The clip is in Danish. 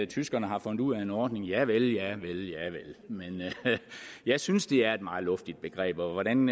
tyskerne har fundet ud af en ordning javel javel men jeg synes at det er et meget luftigt begreb og hvordan